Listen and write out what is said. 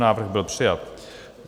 Návrh byl přijat.